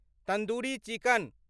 tandoori chicken